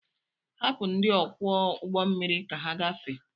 Hapụ ndị ọkwọ ụgbọmmiri ka ha gafee!